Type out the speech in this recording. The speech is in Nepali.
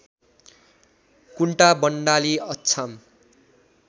कुन्टा बण्डाली अछाम